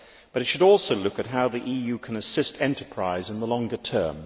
However, it should also look at how the EU can assist enterprise in the longer term.